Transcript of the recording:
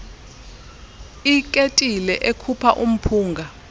iketile ekhupha umphunga